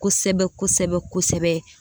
Kosɛbɛ kosɛbɛ kosɛɛ